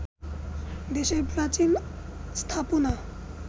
দেশের প্রাচীন স্থাপনা